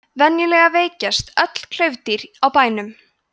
venjulega veikjast öll klaufdýr á bænum